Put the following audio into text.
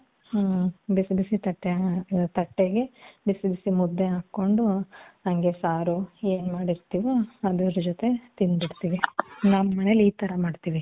ಹ್ಮ್ಮ್ ಬಿಸಿ ಬಿಸಿ ತಟ್ಟೆಗೆ, ಬಿಸಿ ಬಿಸಿ ಮುದ್ದೆ ಹಾಕ್ಕೊಂಡು, ಹಂಗೇ ಸಾರು ಏನ್ ಮಾಡಿರ್ತಿವೋ ಅದರ ಜೊತೆ ತಿಂದ್ಬಿಡ್ತೀವಿ. ನಮ್ಮ ಮನೇಲಿ ಈ ತರ ಮಾಡ್ತಿವಿ .